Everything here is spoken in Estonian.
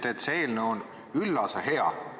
Te ütlesite, et see eelnõu on üllas ja hea.